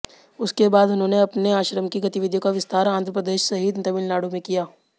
उसके बाद उन्होंने अपने आश्रम की गतिविधियों का विस्तार आंध्र प्रदेश सहित तमिलनाडु में किया